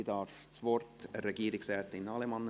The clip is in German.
Ich gebe das Wort an Regierungsrätin Allemann.